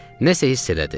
Nə isə hiss elədi.